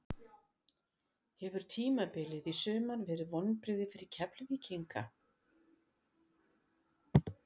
Hefur tímabilið í sumar verið vonbrigði fyrir Keflvíkinga?